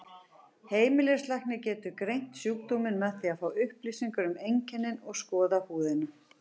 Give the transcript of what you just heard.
Heimilislæknir getur greint sjúkdóminn með því að fá upplýsingar um einkennin og skoða húðina.